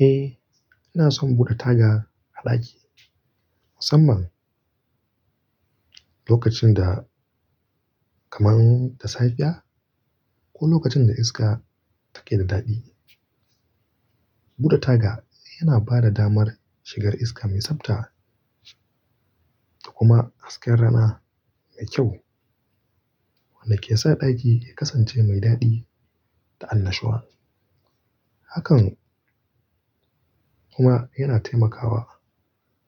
Eh, ina son bude taga a ɗaki musamman lokacin da kamar da safia ko lokacin da iska take da daɗi. Bude taga yana ba da damar shigar iska mai tsabta da kuma hasken rana mai kyau wanda ke sa ɗaki ya kasance mai daɗi da annashuwa. Hakan kuma yana taimakawa